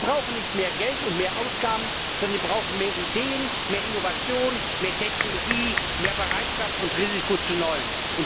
Die brauchen nicht mehr Geld und mehr Ausgaben, sondern die brauchen mehr Ideen, mehr Innovation, mehr Technologie, mehr Bereitschaft und Risiko zu Neuem.